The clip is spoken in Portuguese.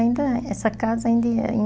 ainda, essa casa ainda ia